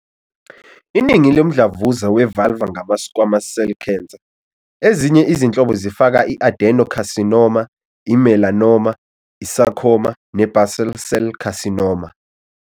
Iningi lomdlavuza we-vulvar ngama- squamous cell cancer. Ezinye izinhlobo zifaka i- adenocarcinoma, i- melanoma, i- sarcoma, ne- basal cell carcinoma.